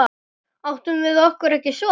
Áttum við okkur ekki son?